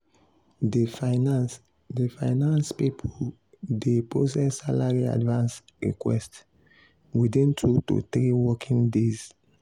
di finance di finance people dey process salary advance request within 2 to 3 working days.